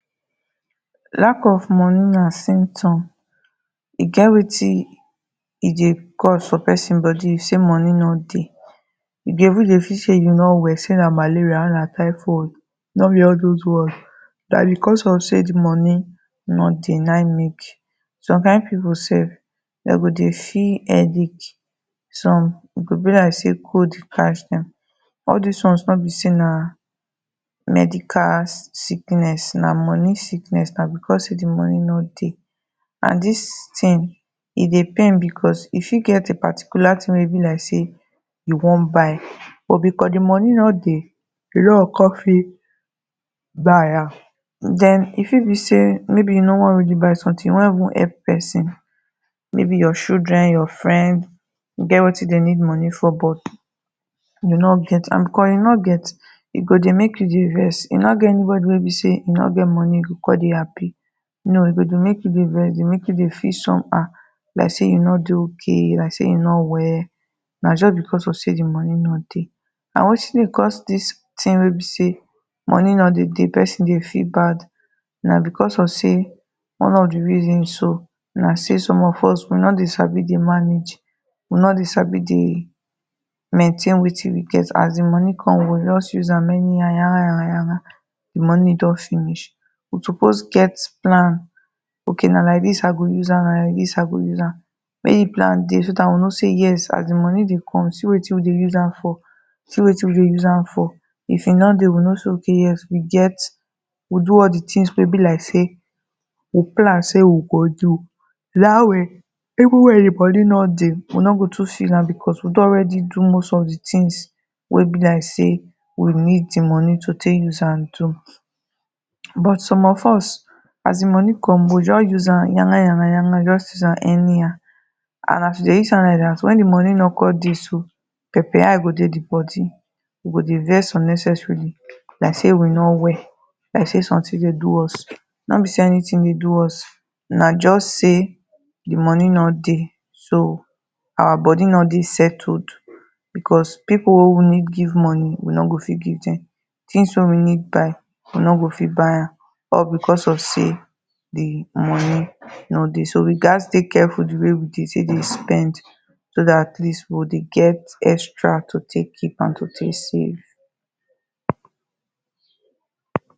Lack of money na symtom. E get wetin e dey cause for pesin body sey money no dey You dey even dey feel say you no well, sey na malaria or na typhoid. No be all dos ones. Na because of sey the money no dey na im make Some kind pipu self dem go dey see headache. Some e go be like sey cold catch dem. All des ones no be sey na medical sickness na money sickness. Na because sey the money no dey. And dis thing e dey pain because e fit get a particular thing wey e be like sey you wan buy but because the money no dey, you no go con fit buy am. Den e fit be sey maybe you no wan really buy something. You wan even help pesin maybe your children your friend. E get wetin dem need money for you no get and cos you no get e go dey make you dey vex. E no get anybody wey be sey e no get money, e go con dey happy. No e go dey make you dey vex, e go dey make you dey feel somehow Like sey you no dey okay. Like sey you no well. Na so because of sey the money no dey. Na wetin dey cause dis things wey be sey money no dey dey, person dey feel bad. Na because of sey one of the reason so na sey some of us we no dey sabi dey manage. We no dey sabi dey maintain wetin we get. As the money come, we go just use am anyhow yangan yangan yangan. The money don finish. We suppose get plan okay na like dis i go use am, na like dis i go use am. When you plan, you go know sey yes as the money dey come, see wetin we dey use am for. see wetin we dey use am for. If e no dey we know sey okay yes we get we do all the things wey be like sey we plan sey we go do. Dat way, even when the money no dey, we no go too feel am because we don already do must of the things wey be like sey we need the money to take use am do. But some of us, as the money come we go just use am yangan yangan yangan. Just use am anyhow. And as you dey use am like dat, when the money no con dey so pepper eye go dey the body. you go dey vex unnecessarily like say we no well, like sey something dey do us. No be sey anything dey do us, na just sey the money no dey so our body no dey settled because people wey we need give money, we no go fit give dem. Things wey we need buy, we no go fit buy am all because of sey the money no dey. So, we gat dey careful the way we dey take dey spend so dat atleast we go dey get extra to take keep and to take save.